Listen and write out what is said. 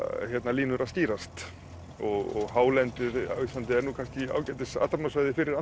línur að skýrast og hálendið á Íslandi er nú kannski ágætis athafnasvæði fyrir